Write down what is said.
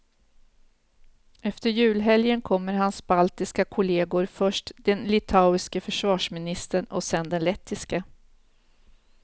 Efter julhelgen kommer hans baltiska kolleger, först den litauiske försvarsministern och senare den lettiske.